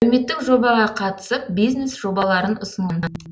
әлеуметтік жобаға қатысып бизнес жобаларын ұсынған